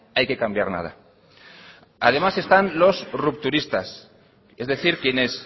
hay que cambiar nada además están los rupturistas es decir quienes